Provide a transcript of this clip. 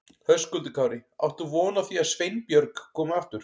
Höskuldur Kári: Átt þú von á því að Sveinbjörg komi aftur?